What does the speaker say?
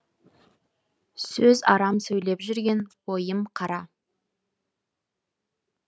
сөз арам сөйлеп жүрген ойым қарам